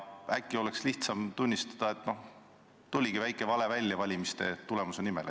Äkki oleks lihtsam tunnistada, et oligi väike vale valimistulemuse nimel.